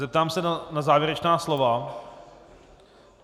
Zeptám se na závěrečná slova.